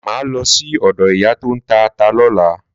Máà lọ sí ọ̀dọ ìyá tóń ta ata lọ́la.